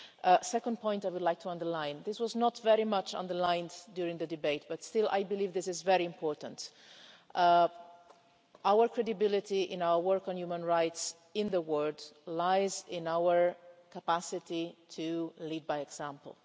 The second point I would like to underline and this was not really underlined during the debate but still I believe this is very important is that our credibility in our work on human rights in the world lies in our capacity to lead by example.